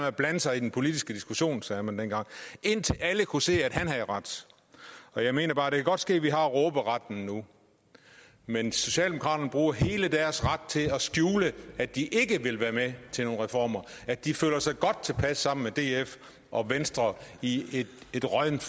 at blande sig i den politiske diskussion sagde man dengang indtil alle kunne se at han havde ret jeg mener bare at det kan godt ske vi har råberetten nu men socialdemokraterne bruger hele deres ret til at skjule at de ikke vil være med til nogen reformer og at de føler sig godt tilpas sammen med df og venstre i et råddent